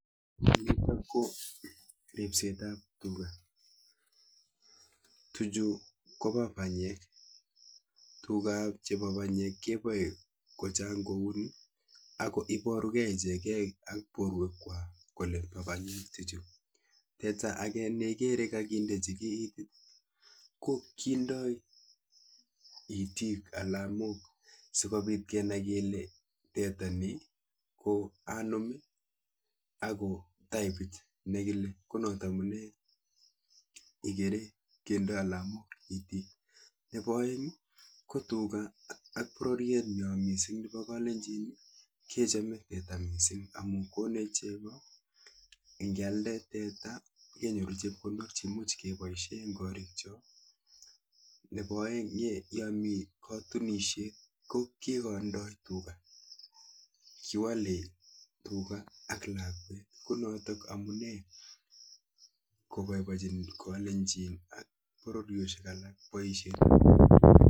Nitok KO ripseet ap.tuga tuchuu kopa. panyeeek tugap panyeeek koecheen. nea. ako tuchutak. kendai alamook chotok cheichegeee